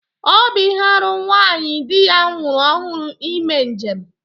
Ọ bụ ihe árú nwaanyị di ya nwụrụ ọhụrụ ime njem